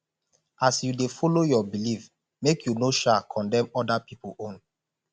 as yu dey follow yur belief make yu no sha condemn oda pipol own